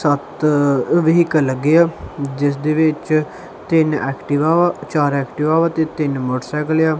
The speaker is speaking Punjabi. ਸੱਤ ਵ੍ਹੀਕਲ ਲੱਗੇ ਆ ਜਿਸਦੇ ਵਿੱਚ ਤਿੰਨ ਐਕਟਿਵਾ ਚਾਰ ਐਕਟਿਵਾ ਵਾ ਤੇ ਤਿੰਨ ਮੋਟਰਸਾਈਕਲ ਆ।